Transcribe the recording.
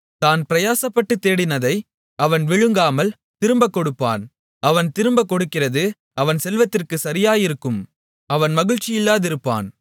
தான் பிரயாசப்பட்டுத் தேடினதை அவன் விழுங்காமல் திரும்பக் கொடுப்பான் அவன் திரும்பக் கொடுக்கிறது அவன் செல்வத்திற்குச் சரியாயிருக்கும் அவன் மகிழ்ச்சியில்லாதிருப்பான்